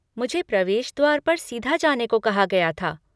मुझे प्रवेश द्वार पर सीधा जाने को कहा गया था।